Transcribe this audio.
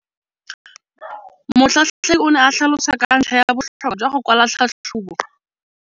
Motlhatlheledi o ne a tlhalosa ka ntlha ya botlhokwa jwa go kwala tlhatlhôbô.